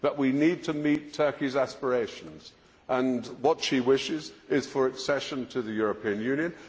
But we need to meet Turkey's aspirations, and what she wishes is accession to the European Union.